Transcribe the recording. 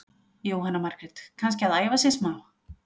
Jóhanna Margrét: Kannski að æfa sig smá?